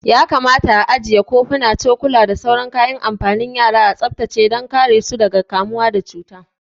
Ya kamata a ajiye kofuna, cokula da sauran kayan amfanin yara a tsaftace dan kare su daga kamuwa da gudawa